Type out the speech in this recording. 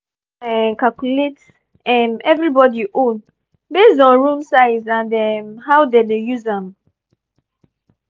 i don gree make i um calculate um everybody own based on room size and um how dem use am.